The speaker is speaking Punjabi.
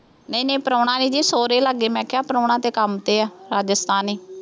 ਨਹੀਂ ਨਹੀਂ ਪ੍ਰਾਹੁਣਾ ਇਹ ਜੀ ਸਹੁਰੇ ਲਾਗੇ ਮੈਂ ਕਿਹਾ ਪ੍ਰਾਹੁਣਾ ਤਾਂ ਕੰਮ ਤੇ ਆ, ਰਾਜਸਥਾਨੀ